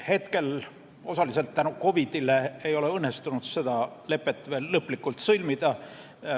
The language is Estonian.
Hetkel, osaliselt COVID-i tõttu, ei ole õnnestunud seda lepet veel lõplikult sõlmida.